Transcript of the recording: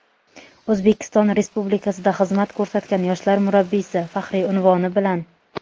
"O‘zbekiston Respublikasida xizmat ko‘rsatgan yoshlar murabbiysi" faxriy unvoni bilan.